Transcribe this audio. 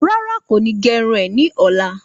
Rárá, kò ni ge irun e ní ọ̀la